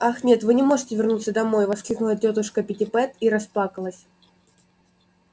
ах нет вы не можете вернуться домой воскликнула тётушка питтипэт и расплакалась